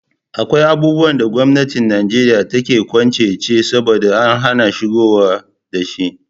Akwai abubuwan da gwamnatin Nijeriya take kwance ce saboda ta hana shigowa da shi.